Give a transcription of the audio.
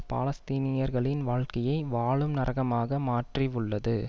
பாலஸ்தீனியர்களின் வாழ்க்கையை வாழும் நரகமாக மாற்றி உள்ளது